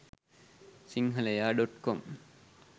sinhalaya.com